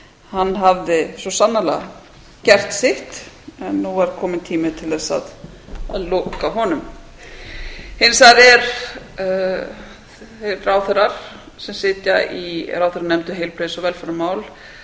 hann hafði svo sannarlega gert sitt en nú er kominn tími til þess að loka honum hins vegar eru þeir ráðherrar sem sitja í ráðherranefnd um heilbrigðis og velferðarmál